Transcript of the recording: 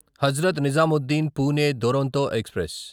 Hazrat Nizamuddin Pune Duronto express